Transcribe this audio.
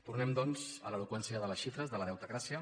tornem doncs a l’eloqüència de les xifres de la deutecràcia